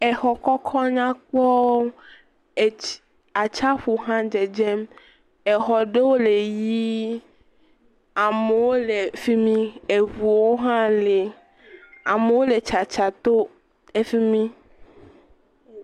Exɔ kɔkɔ nyakpɔwo. Atsiaƒu hã dzedzem. Exɔ ɖewo le ɣi. Amewo le fimi. Eʋuwo hã le. Amewo le tsatsa to efimi.